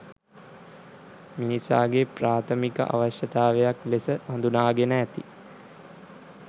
මිනිසාගේ ප්‍රාථමික අවශ්‍යතාවක් ලෙස හදුනාගෙන ඇති